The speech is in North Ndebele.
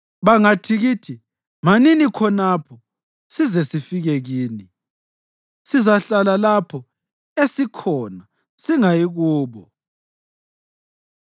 Bangathi kithi, ‘Manini khonapho size sifike kini,’ sizahlala lapho esikhona singayi kubo.